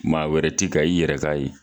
Maa wɛrɛ ti ka i yɛrɛ k'a ye